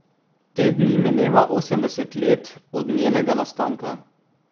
Te dni mineva osemdeset let od njenega nastanka.